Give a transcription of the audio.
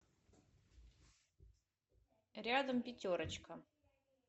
рядом пятерочка